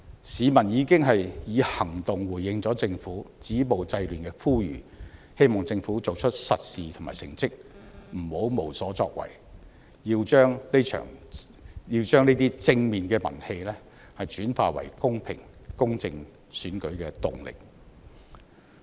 市民已經以行動回應政府止暴制亂的呼籲，希望政府做出實事和成績，不要無所作為，要把這些正面的民氣轉化為公平、公正的選舉動力。